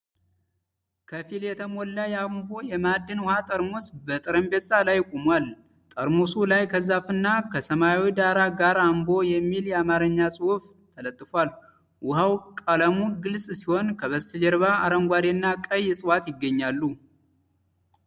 ከፊል የተሞላ የአምቦ የማዕድን ውኃ ጠርሙስ በጠረጴዛ ላይ ቆሟል። ጠርሙሱ ላይ ከዛፍና ከሰማያዊ ዳራ ጋር 'አምቦ' የሚል የአማርኛ ጽሑፍ ተለጥፏል። ውኃው ቀለሙ ግልጽ ሲሆን ከበስተጀርባ አረንጓዴና ቀይ ዕፅዋት ይገኛሉ።